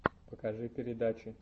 покажи передачи